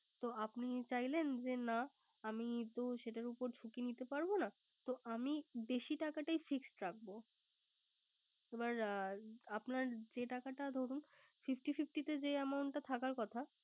তো আপনি চাইলেন যে, না আমি তো সেটার উপর ঝুকি নিতে পারবো না তো আমি বেশি টাকাটাই Fixed রাখবো। এবার আপনার যে টাকা ধরুন Fifty fifty তে যে Amount টা থাকার কথা।